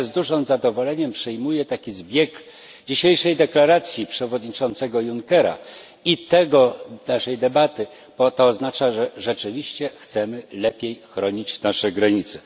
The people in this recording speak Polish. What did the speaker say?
Ja z dużym zadowoleniem przyjmuję taki zbieg dzisiejszej deklaracji przewodniczącego Junckera i tej naszej debaty, bo to oznacza, że rzeczywiście chcemy lepiej chronić nasze granice.